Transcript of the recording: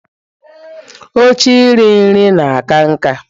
Oche iri nri na-aka nká.